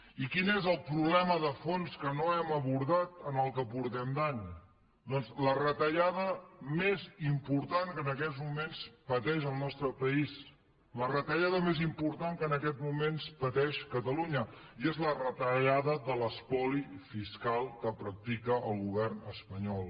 i quin és el problema de fons que no hem abordat en el que portem d’any doncs la retallada més important que en aquests moments pateix el nostre país la retallada més important que en aquests moments pateix catalunya i és la retallada de l’espoli fiscal que practica el govern espanyol